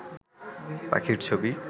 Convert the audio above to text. পাখির ছবি